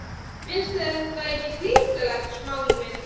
Finnst þér þetta ekki hrikalegt, Smári minn?